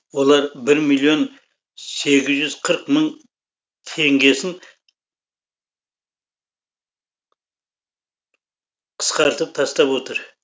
олар бір миллион сегіз жүз қырық мың теңгесін қысқартып тастап отыр